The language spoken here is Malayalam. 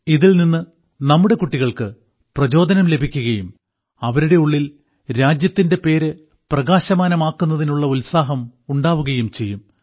ഇതിൽനിന്ന് നമ്മുടെ കുട്ടികൾക്ക് പ്രചോദനം ലഭിക്കുകയും അവരുടെ ഉള്ളിൽ രാജ്യത്തിന്റെ പേര് പ്രകാശമാനമാക്കുന്നതിനുള്ള ഉത്സാഹം ഉണ്ടാകുകയും ചെയ്യും